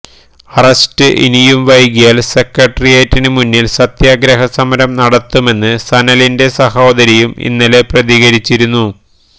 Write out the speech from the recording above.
arrest ഇനിയും വൈകിയാൽ സെക്രട്ടറിയറ്റിന് മുന്നിൽ സത്യാഗ്രഹ സമരം നടത്തുമെന്ന് സനലിന്റെ സഹോദരിയും ഇന്നലെ പ്രതികരിച്ചിരുന്നു